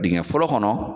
Dingɛ fɔlɔ kɔnɔ